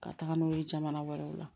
Ka taga n'o ye jamana wɛrɛw la